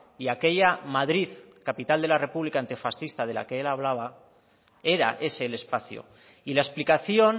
y aquella madrid capital de la república antifascista de la que él hablaba era ese el espacio y la explicación